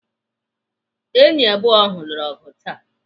Enyi abụọ ahụ lụrụ ọgụ taa.